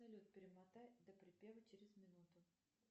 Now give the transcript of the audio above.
салют перемотай до припева через минуту